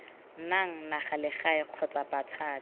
nang naga legae kgotsa batshabi